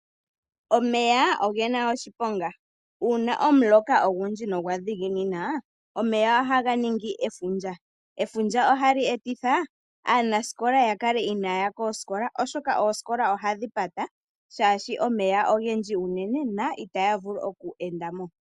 Omeya oge na oshiponga. Uuna omuloka ogundji nogwa dhiginina, omeya ohaga ningi efundja. Efundja hali etitha aanasikola opo kaaya ye koosikola, oshoka oosikola ohadhi pata omolwa omeya ogendji unene, moka itamu vulu okweendwa kaanasikola.